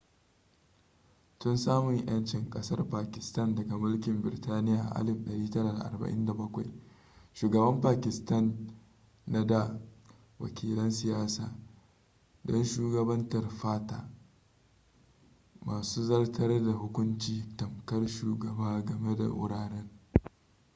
tun samun yancin kasar pakistan daga mulkin birtaniya a 1947 shugaban pakistan na nada wakilan siyasa don shugabantar fata masu zartar da hukunci tamkar shugaba game da wuraren